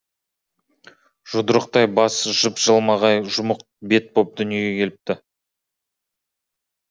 жұдырықтай бас жып жылмағай жұмық бет боп дүниеге келіпті